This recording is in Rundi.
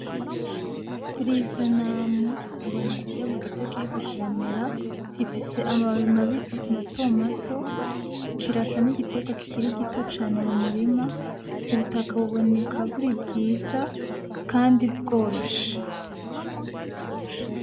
Kuriyi sanamu, mbona igiterwa gito kiriko kiramera. Gifise amababi mabisi mato mato. Kirasa nk'igiterwa kikiri gito cane mumurima. Ubutaka buboneka buri bwiza kandi bworoshe.